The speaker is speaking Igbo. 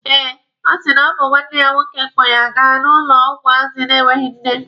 Eh, ọ sị na ọ bụ nwanne ya nwoke kpọ ya ga n'ụlọ ụmụazị na-enweghi nne.